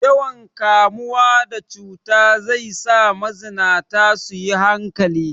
Yawan kamuwa da cuta zai za mazinata su yi hankali.